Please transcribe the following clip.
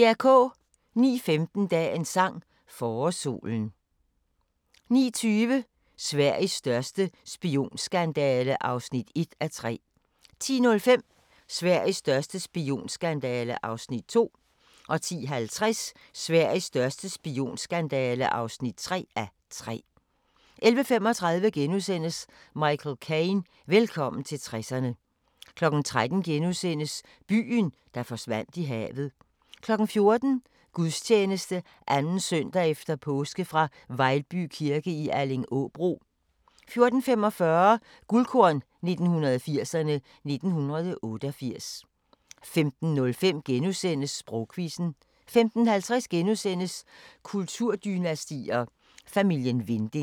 09:15: Dagens sang: Forårssolen 09:20: Sveriges største spionskandale (1:3) 10:05: Sveriges største spionskandale (2:3) 10:50: Sveriges største spionskandale (3:3) 11:35: Michael Caine – Velkommen til 60'erne * 13:00: Byen, der forsvandt i havet * 14:00: Gudstjeneste 2. søndag efter påske fra Vejlby kirke i Allingåbro 14:45: Guldkorn 1980'erne: 1988 15:05: Sprogquizzen * 15:50: Kulturdynastier: Familien Winding *